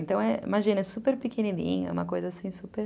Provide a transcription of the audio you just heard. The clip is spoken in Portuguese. Então, imagina, é super pequenininho, é uma coisa super...